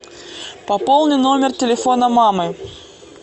пополни номер телефона мамы